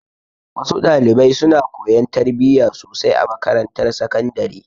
Wa su dalibai suna koyan tarbiya sosai a makarantar sakandare.